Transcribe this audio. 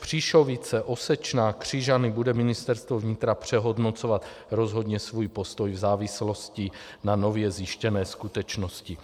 Příšovice, Osečná, Křižany bude Ministerstvo vnitra přehodnocovat rozhodně svůj postoj v závislosti na nově zjištěné skutečnosti.